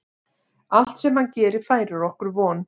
Allt sem hann gerir færir okkur von.